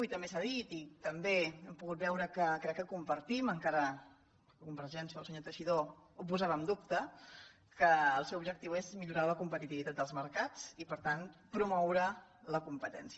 i també s’ha dit i també hem po·gut veure que crec que ho compartim encara que con·vergència el senyor teixidó ho posava en dubte que el seu objectiu és millorar la competitivitat dels mercats i per tant promoure la competència